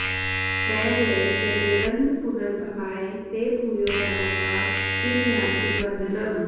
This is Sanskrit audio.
न वै यतेरन्नपुनर्भवाय ते भूयो वनौका इव यान्ति बन्धनम्